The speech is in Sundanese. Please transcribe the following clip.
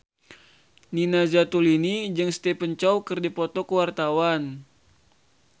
Nina Zatulini jeung Stephen Chow keur dipoto ku wartawan